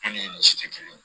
ni misi tɛ kelen ye